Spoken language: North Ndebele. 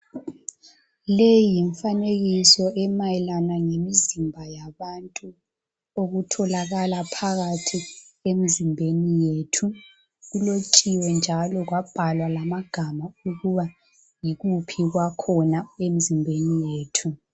Le yimfanekiso emayelana ngemizimba yabantu okutholakala phakathi emzimbeni yethu kulotshiwe njalo kwabhalwa lamagama ukuba yikuphi kwakhona emzimbeni yethu